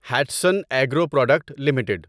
Hatsun agro product limited